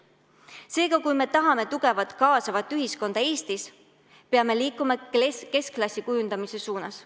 Seega, kui me tahame Eestis tugevat kaasavat ühiskonda, peame liikuma keskklassi kujundamise suunas.